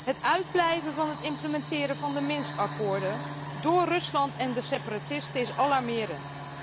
Het uitblijven van de implementatie van de Minsk akkoorden door Rusland en de separatisten, is alarmerend.